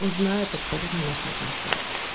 он знает абсолютно наши отношения